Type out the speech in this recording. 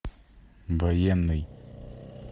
военный